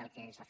del que s’ha fet